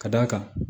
Ka d'a kan